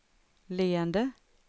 leende